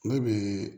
Ne bi